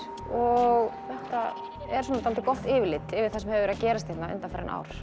og þetta er svona dálítið gott yfirlit yfir það sem hefur verið að gerast hérna undanfarin ár